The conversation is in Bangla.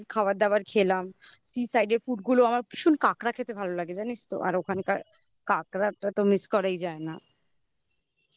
দিলাম. খাবার দাবার খেলাম sea side র food গুলো আমার ভীষণ কাঁকড়া খেতে ভালো লাগে. জানিস তো? আর ওখানকার কাঁকড়াটা তো miss করাই যায় না